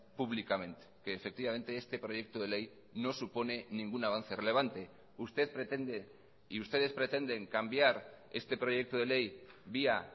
públicamente que efectivamente este proyecto de ley no supone ningún avance relevante usted pretende y ustedes pretenden cambiar este proyecto de ley vía